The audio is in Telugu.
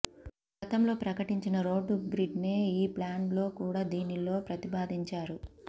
గతంలో ప్రకటించిన రోడ్డు గ్రిడ్నే ఈ ప్లాన్ లో కూడా దీనిలో ప్రాతిపాదించారు